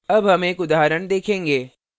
अब हम एक उदाहरण देखेंगे